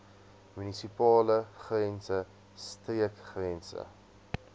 munisipale grense streekgrense